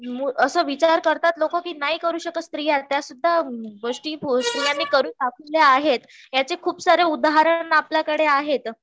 असा विचार करतात लोक कि नाही करू शकता स्त्रीया त्या सुद्धा गोष्टी स्त्रियांनी करून दाखवल्या आहेत, याचे खूप सारे उदाहरण आपल्याकडे आहेत,